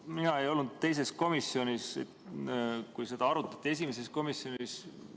Mina ei olnud teisel komisjoni istungil, seda arutati esimesel komisjoni istungil.